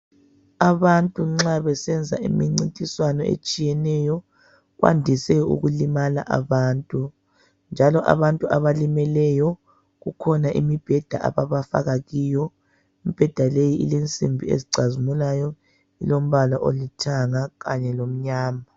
Abantu nxa besenza imincintiswano etshiyeneyo, kwandise ukulimala abantu. Njalo abantu abalimemeleyo, kukhona imibheda ababafaka kiyo. Imibheda leyi ilensimbi ezicazimulayo, ilombala olithanga kanye lomnyama.